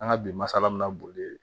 An ka bi masala bɛna boli